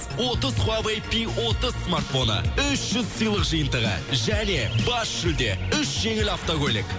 отыз хуавэй пи отыз смартфоны үш жүз сыйлық жиынтығы және бас жүлде үш жеңіл автокөлік